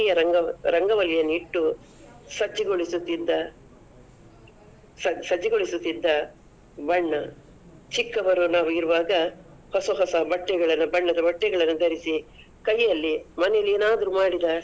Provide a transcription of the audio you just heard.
ರಂಗ~ ರಣವಳ್ಳಿಯನಿಟ್ಟು, ಸಜ್ಜುಗೊಳಿಸುತಿದ್ದ ಸ~ ಸಜ್ಜುಗೊಳಿಸುತಿದ್ದ ಬಣ್ಣ, ಚಿಕ್ಕವರು ನಾವು ಇರುವಾಗ ಹೊಸ ಹೊಸ ಬಟ್ಟೆಗಳನ್ನ ಬಣ್ಣದ ಬಟ್ಟೆಗಳನ್ನ ದರಿಸಿ ಕೈಯಲ್ಲಿ ಮನೆಲ್ಲಿ ಏನಾದ್ರೂ ಮಾಡಿದ.